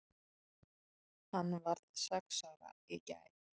Hann varð sex ára í gær.